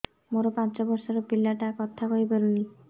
ମୋର ପାଞ୍ଚ ଵର୍ଷ ର ପିଲା ଟା କଥା କହି ପାରୁନି